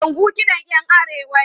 Kalangu kiɗan 'yan Arewa ne.